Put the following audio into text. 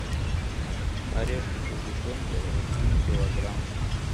орешки со сгущенкой один килограмм